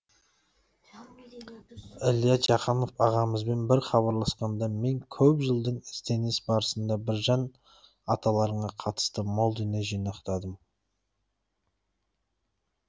ілия жақанов ағамызбен бір хабарласқанда мен көп жылдық ізденіс барысында біржан аталарыңа қатысты мол дүние жинақтадым